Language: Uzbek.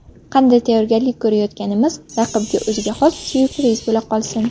Qanday tayyorgarlik ko‘rayotganimiz raqibga o‘ziga xos syurpriz bo‘la qolsin.